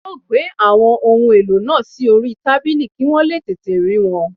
A ó gbé àwọn ohun èlò náà sí orí tábìlì kí wọ́n lè tètè rí wọn